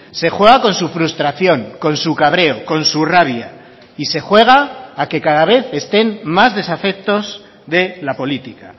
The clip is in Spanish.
se juega con su frustración con su cabreo con su rabia y se juega a que cada vez estén más desafectos de la política